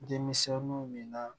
Denmisɛnnu min na